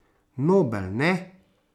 Nobel, ne?